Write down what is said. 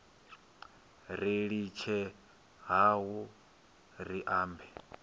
ri litshe hayo ri ambe